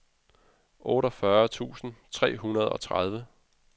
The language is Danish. otteogfyrre tusind tre hundrede og tredive